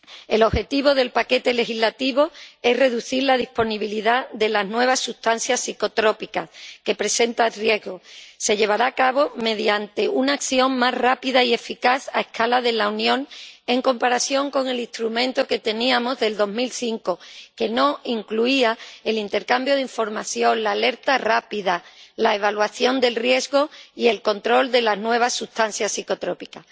El objetivo del paquete legislativo es reducir la disponibilidad de las nuevas sustancias psicotrópicas que presentan riesgos, lo que se llevará a cabo mediante una acción más rápida y eficaz a escala de la Unión en comparación con el instrumento que teníamos, de 2005, que no incluía el intercambio de información, la alerta rápida, la evaluación del riesgo ni el control de las nuevas sustancias psicotrópicas.